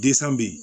be yen